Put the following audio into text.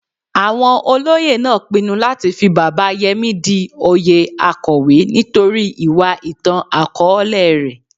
Awon Olóyè naa pinnu lati fi Baba Yemi di oyè Akowe nitori iwa itan-akọọlẹ rẹ.